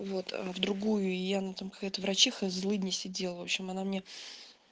вот в другую и она там какая-то врачиха злыдня сидел в общем она мне